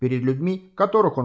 перед людьми которых он